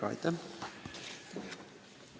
Aitäh!